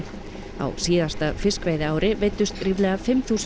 á síðasta fiskveiðiári veiddust ríflega fimm þúsund